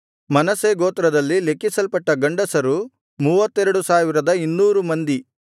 ಮನಸ್ಸೆ ಗೋತ್ರದಲ್ಲಿ ಲೆಕ್ಕಿಸಲ್ಪಟ್ಟ ಗಂಡಸರು 32200 ಮಂದಿ